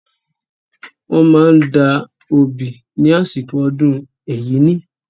Wọ́n máa ń da obì ní àsìkò ọdún Ẹ̀yíní.